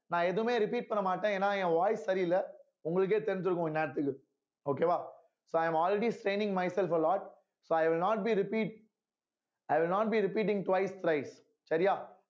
நான் எதுவுமே repeat பண்ண மாட்டேன் ஏன்னா என் voice சரியில்லை உங்களுக்கே தெரிஞ்சிருக்கும் இந்நேரத்துக்கு okay வா so i am already staining myself alot so i will not be repeat i will not be repeating twice thrice சரியா